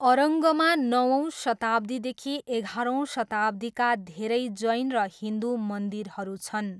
अरङ्गमा नवौँ शताब्दीदेखि एघारौँ शताब्दीका धेरै जैन र हिन्दु मन्दिरहरू छन्।